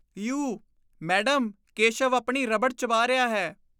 You! Madam, Keshav ਆਪਣੀ rubber ਚਬਾ ਰਿਹਾ ਹੈ।